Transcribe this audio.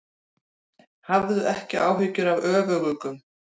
Hafðu ekki áhyggjur af öfuguggum.